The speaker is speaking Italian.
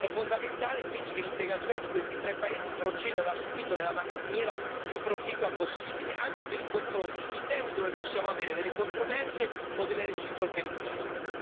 È fondamentale, quindi, che l'integrazione di questi tre paesi proceda da subito nella maniera più proficua possibile, anche per il confronto sui temi dove possiamo avere delle controversie o delle reciproche richieste.